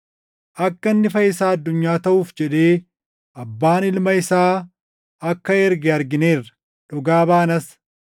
Akka inni Fayyisaa addunyaa taʼuuf jedhee Abbaan Ilma isaa akka erge argineerra; dhugaa baanas.